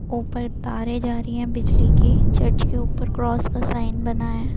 ऊपर तारे जा रही हैं बिजली की। चर्च के ऊपर क्रोस का साइन बना है ।